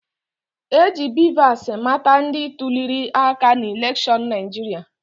E ji BVAS mata ndị tuliri aka n'elekshọnụ Naịjirịa